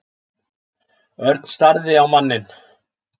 Örn starði á manninn.